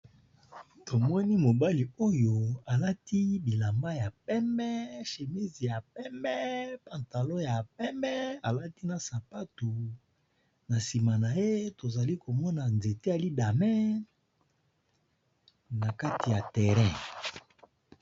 Tomoni mobali oyo alati bilamba ya pembe, chemise ya pembe, pantalon ya pembe, alati na sapatu ,na nsima naye tozali komona nzete ya lidame na kati ya terrain .